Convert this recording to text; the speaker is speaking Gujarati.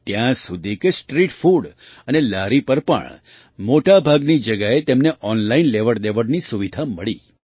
ત્યાં સુધી કે સ્ટ્રીટ ફૂડ અને લારી પર પણ મોટા ભાગની જગ્યાએ તેમને ઑનલાઇન લેવડદેવડની સુવિધા મળી